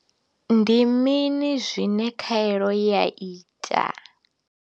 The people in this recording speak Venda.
Ndi mini zwine khaelo ya ita?